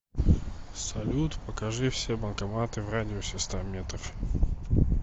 салют покажи все банкоматы в радиусе ста метров